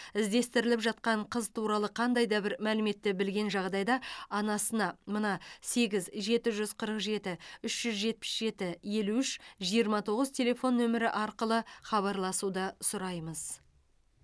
іздестіріліп жатқан қыз туралы қандайда бір мәліметті білген жағдайда анасына мына сегіз жеті жүз қырық жеті үш жүз жетпіс жеті елу үш жиырма тоғыз телефон нөмері арқылы хабарласуды сұраймыз